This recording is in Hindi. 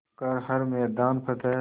कर हर मैदान फ़तेह